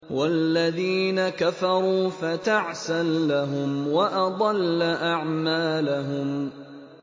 وَالَّذِينَ كَفَرُوا فَتَعْسًا لَّهُمْ وَأَضَلَّ أَعْمَالَهُمْ